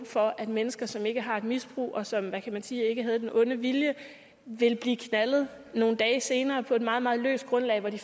for at mennesker som ikke har et misbrug og som hvad kan man sige ikke havde den onde vilje vil blive knaldet nogle dage senere på et meget meget løst grundlag hvor de